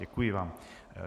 Děkuji vám.